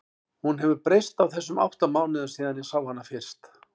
Hún hefur breyst á þessum átta mánuðum síðan ég sá hana fyrst.